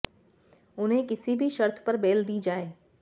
उन्हें किसी भी शर्त पर बेल दी जाए